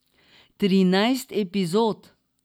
Trinajst epizod.